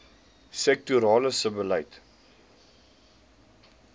sektorale sebbeleid